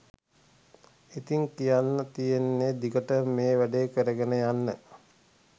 ඉතින් කියන්න තියෙන්නේ දිගටම මේ වැඩේ කරගෙන යන්න